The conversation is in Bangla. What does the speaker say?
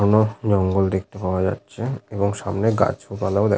ঘন জঙ্গল দেখতে পাওয়া যাচ্ছে এবং সামনে গাছ ও পালাও দেখ--